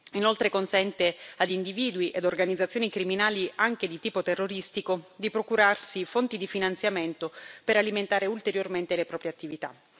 Inoltre consente ad individui e organizzazioni criminali, anche di tipo terroristico, di procurarsi fonti di finanziamento per alimentare ulteriormente le proprie attività.